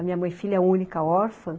A minha mãe filha única, órfã.